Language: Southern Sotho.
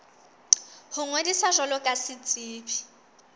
ho ngodisa jwalo ka setsebi